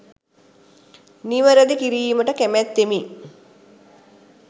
නිවැරදි කිරීමට කැමැත්තෙමි